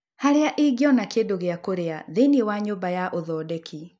Harĩa ingĩona kĩndũ gĩa kũrĩa thĩinĩ wa nyũmba ya ũthondeki